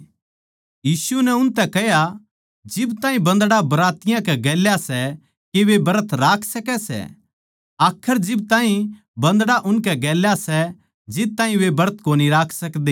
यीशु नै उनतै कह्या जिब ताहीं बन्दड़ा बरातियाँ कै गेल्या सै के वे ब्रत राख सकै सै आखर जिब ताहीं बन्दड़ा उनकै गेल्या सै जद ताहीं वे ब्रत कोनी कर सकदे